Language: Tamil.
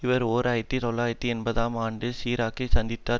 இவர் ஓர் ஆயிரத்தி தொள்ளாயிரத்து எண்பதாம் ஆண்டு சிராக்கை சந்தித்தார்